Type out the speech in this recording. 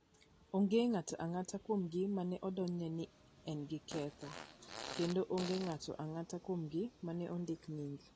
Onge ng'ato ang'ata kuomgi ma ne odonjne ni en gi ketho, kendo onge ng'ato ang'ata kuomgi ma ne ondik nying.